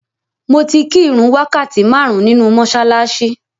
Mo ti kí ìrun wákàtí márùn-ún nínu mọ́ṣáláṣí.